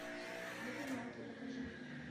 догонялки покажи